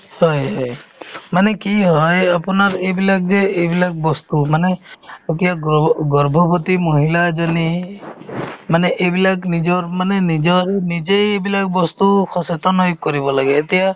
হয় মানে কি হয় আপোনাৰ এইবিলাক যে এইবিলাক বস্তু মানে এতিয়া গ্ৰৰ্ভ~ গৰ্ভৱতী মহিলা এজনী মানে এইবিলাক নিজৰ মানে নিজৰ~ নিজে এইবিলাক বস্তু সচেতন হৈ কৰিব লাগে এতিয়া